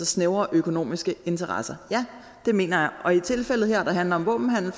snævre økonomiske interesser ja det mener jeg og i tilfældet her der handler om våbenhandel